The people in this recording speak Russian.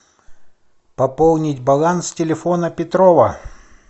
пополнить баланс телефона петрова